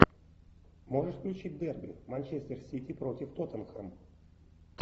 можешь включить дерби манчестер сити против тоттенхэм